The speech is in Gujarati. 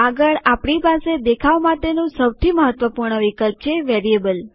આગળ આપણી પાસે દેખાવ માટેનું સૌથી મહત્વપૂર્ણ વિકલ્પ છે વેરિયેબલ